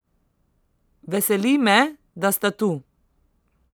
Veseli me, da sta tu.